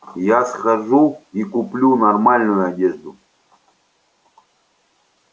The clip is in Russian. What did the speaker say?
я схожу и куплю нормальную одежду